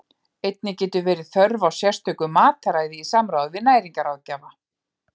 Einnig getur verið þörf á sérstöku mataræði í samráði við næringarráðgjafa.